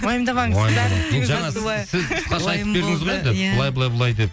уайымдамаңыз жаңа сіз қысқаша айтып бердіңіз ғой енді былай былай былай деп